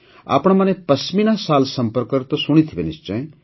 ଆପଣମାନେ ପଶ୍ମିନା ଶାଲ୍ ସମ୍ପର୍କରେ ତ ଶୁଣିଥିବେ ନିଶ୍ଚୟ